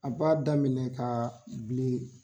A b'a daminɛ ka bilen.